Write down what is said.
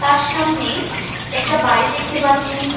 আর সামনে একটা বাড়ি দেখতে পাচ্ছি।